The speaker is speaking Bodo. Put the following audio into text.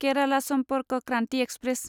केराला सम्पर्क क्रान्ति एक्सप्रेस